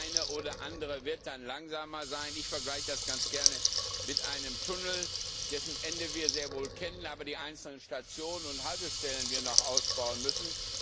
Der eine oder andere wird dann langsamer sein. Ich vergleiche das ganz gerne mit einem Tunnel, dessen Ende wir sehr wohl kennen, dessen einzelne Stationen und Haltestellen wir aber noch ausbauen müssen.